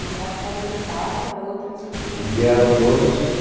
Uma parte estava em Amparo e a outra em Santo Antônio. Vieram todos